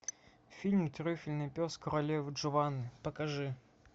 фильм трюфельный пес королевы джованны покажи